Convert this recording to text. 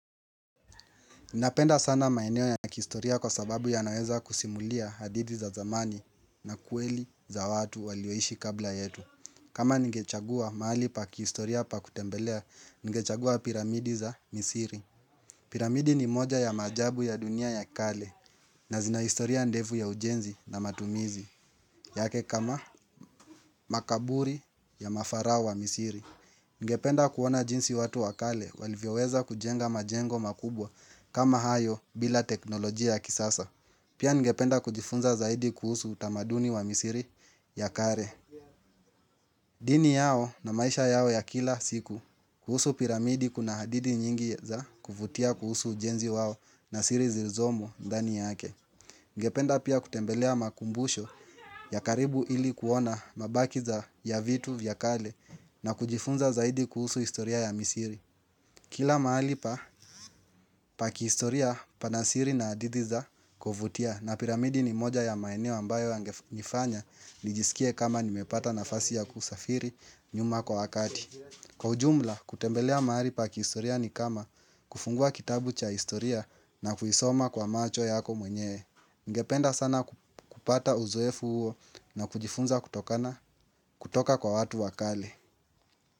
Ninapenda sana maeneo ya kihistoria kwa sababu yanaweza kusimulia hadidi za zamani na kweli za watu walioishi kabla yetu. Kama ningechagua mahali pa kihistoria pa kutembelea, ningechagua piramidi za Misiri. Piramidi ni moja ya maajabu ya dunia ya kale, na zina historia ndefu ya ujenzi na matumizi yake kama makaburi ya mafarao wa Misiri. Ningependa kuona jinsi watu wakale walivyoweza kujenga majengo makubwa kama hayo bila teknolojia kisasa Pia ningependa kujifunza zaidi kuhusu utamaduni wa Misiri ya kare dini yao na maisha yao ya kila siku kuhusu piramidi kuna hadidi nyingi za kuvutia kuhusu ujenzi wao na siri zilizomo ndani yake Ninapenda sana maeneo ya kihistoria kwa sababu ya naweza kusimulia hadidi za zamani na kweli za watu walioishi kabla yetu. Kila mahali pa kihistoria pana siri na adidi za kuvutia na piramidi ni moja ya maeneo ambayo yangenifanya nijisikie kama nimepata nafasi ya kusafiri nyuma kwa wakati. Kwa ujumla kutembelea mahali pa kihistoria ni kama kufungua kitabu cha kihistoria na kuisoma kwa macho yako mwenyewe. Ngependa sana kupata uzoefu huo na kujifunza kutokana kutoka kwa watu wa kale.